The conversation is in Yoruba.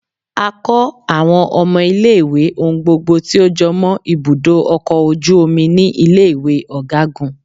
A kọ awọn ọmọ ìlé-ìwé ohun gbogbo ti o jọmọ ibudo ọkọ ojúomí ni ile-iwe ọgagun.